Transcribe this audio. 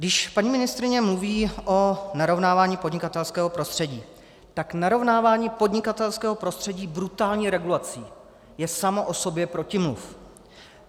Když paní ministryně mluví o narovnávání podnikatelského prostředí, tak narovnávání podnikatelského prostředí brutální regulací je samo o sobě protimluv.